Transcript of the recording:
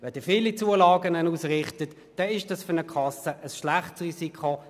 Wenn Sie viele Zulagen ausrichten, ist das für eine Kasse ein schlechtes Risiko.